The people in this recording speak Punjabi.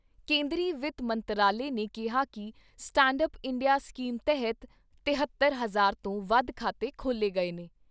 ਕੇਂਦਰੀ ਵਿੱਤ ਮੰਤਰਾਲੇ ਨੇ ਕਿਹਾ ਕਿ ਸਟੈਂਡਅੱਪ ਇੰਡੀਆ ਸਕੀਮ ਤਹਿਤ ਤਹੇਤਰ ਹਜ਼ਾਰ ਤੋਂ ਵੱਧ ਖਾਤੇ ਖੋਲੇ ਗਏ ਨੇ।